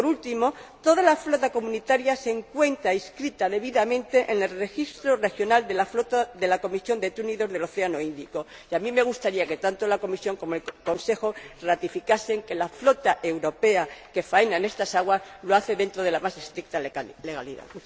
Y, por último, toda la flota comunitaria se encuentra debidamente inscrita en el registro regional de la flota de la Comisión de Túnidos del Océano Índico y a mí me gustaría que tanto la Comisión como el Consejo ratificasen que la flota europea que faena en estas aguas lo hace dentro de la más estricta legalidad.